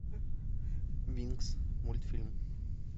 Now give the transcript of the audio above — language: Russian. винкс мультфильм